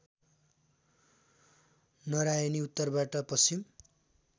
नरायणी उत्तरबाट पश्चिम